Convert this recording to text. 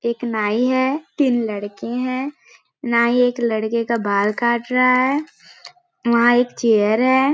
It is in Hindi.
एक नाई है तीन लड़के है नाई एक लड़के का बाल कट रहा है वहाँ एक चेयर हैं ।